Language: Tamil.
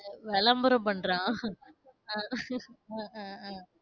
விளம்பரம் பண்றான். அஹ் அஹ் உம் உம்